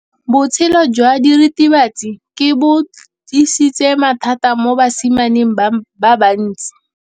Botshelo jwa diritibatsi ke bo tlisitse mathata mo basimaneng ba bantsi.